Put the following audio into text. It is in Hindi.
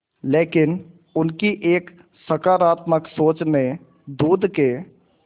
लेकिन उनकी एक सकरात्मक सोच ने दूध के